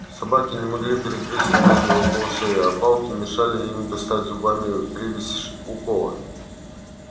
собаки не могли перегрызть ремень около шеи а палки мешали им достать зубами привязь у кола